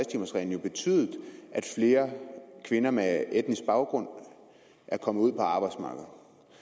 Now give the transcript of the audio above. timers reglen jo betydet at flere kvinder med etnisk baggrund er kommet ud på arbejdsmarkedet